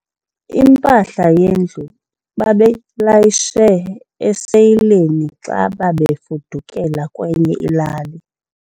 Impahla yendlu bebeyilayishe esileyini xa bebefudukela kwenye ilali.